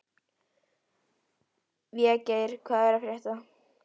Végeir, hvað er að frétta?